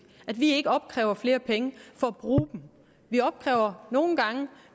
vi opkræver ikke flere penge for at bruge dem vi opkræver nogle gange